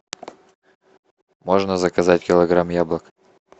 можно заказать килограмм яблок